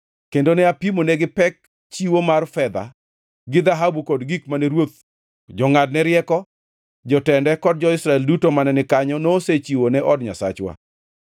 kendo ne apimonegi pek chiwo mar fedha gi dhahabu kod gik mane ruoth, jongʼadne rieko, jotende kod jo-Israel duto mane ni kanyo nosechiwo ne od Nyasachwa.